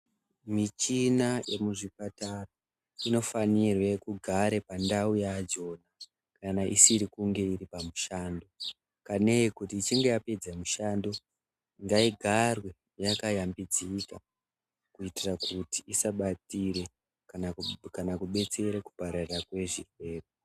Michina yemuzviprpatara inofanirwe kugare pandau yadzo kana isiri kunge iri pamushando. Kanei kuti ichinge yapedze mushando ngaigarwe yakayambidzika kuitire kuti isabatire kana kubetsere kupararira kwezvirwere.